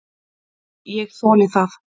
Ég þoli það.